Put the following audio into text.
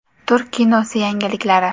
Turk kinosi yangiliklari.